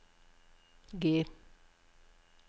G